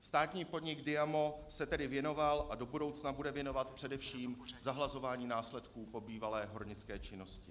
Státní podnik Diamo se tedy věnoval a do budoucna bude věnovat především zahlazování následků po bývalé hornické činnosti.